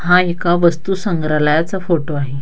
हा एका वस्तू संग्रलायाचा फोटो आहे.